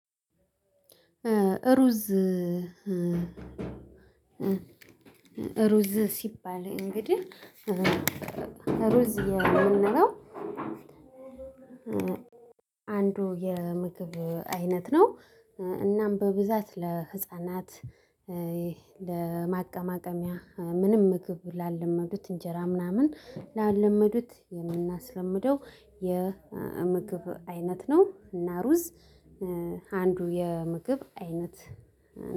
ሩዝ ሩዝ ሲባል እንግዲህ ሩዝ የምንለው አንዱ የምግብ አይነት ነው። እናም በብዛት ለህፃናት ለማቀማቀሚያ ምንም ምግብ ላለመዱት እንጀራ ምናምን ላለመዱት የምናስለምደው የምግብ አይነት ነው። እና ሩዝ አንዱ የምግብ አይነት።